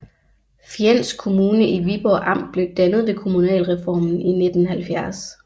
Fjends Kommune i Viborg Amt blev dannet ved kommunalreformen i 1970